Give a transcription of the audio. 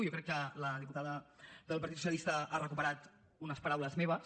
jo crec que la diputada del partit socialista ha recuperat unes paraules meves